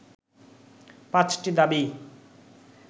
পাঁচটি দাবি